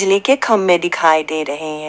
के खंभे दिखाई दे रहे हैं।